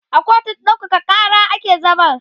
a kotun ɗaukaka Kara ake zaman